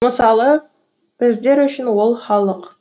мысалы біздер үшін ол халық